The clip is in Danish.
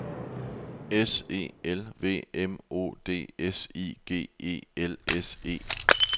S E L V M O D S I G E L S E